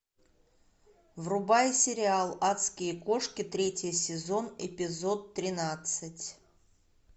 врубай сериал адские кошки третий сезон эпизод тринадцать